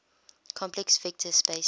complex vector space